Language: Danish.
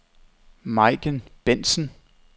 Majken Bentsen